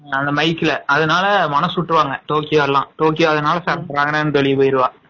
அந்த mike ல அதனால மனசு விட்ருவாங்க டோக்கியோ எல்லாம் டோக்கியோ அதனால வெளியில போயிருவா